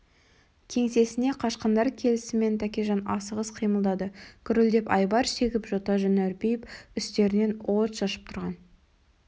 кеңсесіне қашқындар келісімен тәкежан асығыс қимылдады гүрілдеп айбар шегіп жота жүні үрпиіп түстерінен от шашып тұрған